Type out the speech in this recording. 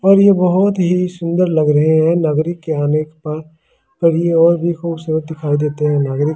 अब ये बहुत ही सुन्दर लग रहे है नागरिक यहाँ आने पर अब ये और ही खूबसूरत दिखाई देते है नागारिक के यहां पर--